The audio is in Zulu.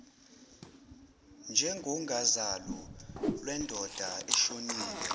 njengozalo lwendoda eshonile